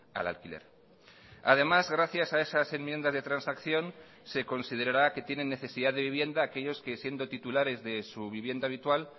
al alquiler además gracias a esas enmiendas de transacción se considerará que tienen necesidad de vivienda aquellos que siendo titulares de su vivienda habitual